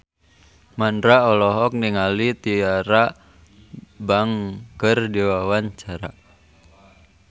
Mandra olohok ningali Tyra Banks keur diwawancara